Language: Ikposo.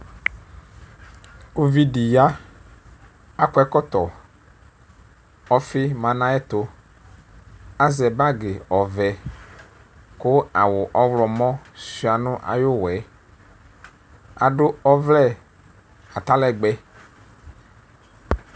uvidi ya akɔ ɛkɔtɔku ɔfi ma nu ayiʋ ɛtu azɛ bag ɔvɛku awu ɔɣlɔmɔ suia nu ayiʋ uwɔ yɛaɖu ɔvlɛ atalɛgbɛ